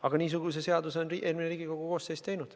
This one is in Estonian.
Aga niisuguse seaduse on eelmine Riigikogu koosseis teinud.